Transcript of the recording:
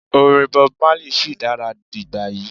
orin Bob Marley shi dara digbayi